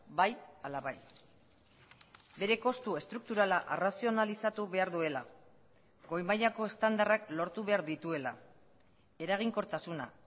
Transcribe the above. bai ala bai bere kostu estrukturala arrazionalizatu behar duela goi mailako estandarrak lortu behar dituela eraginkortasuna